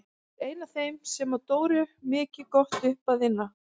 Ég er ein af þeim sem á Dóru mikið gott upp að inna.